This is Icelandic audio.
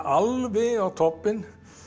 alveg í toppi